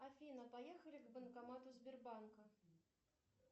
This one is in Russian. афина поехали к банкомату сбербанка